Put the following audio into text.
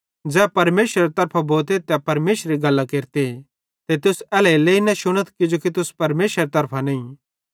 ज़ै परमेशरेरे तरफां भोते तै परमेशरेरी गल्लां केरते ते तुस एल्हेरेलेइ न शुनथ किजोकि तुस परमेशरेरे तरफां नईं